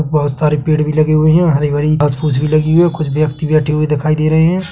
बहोत सारे पेड़ भी लगे हुए है हरी -भरी घास फूस भी लगी हुई है कुछ व्यक्ति बैठे हुए दिखाई दे रहे है।